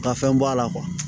Ka fɛn bɔ a la